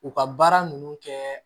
U ka baara ninnu kɛ